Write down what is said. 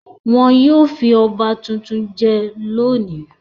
Wọn yóò fi ọba tuntun jẹ lónìí.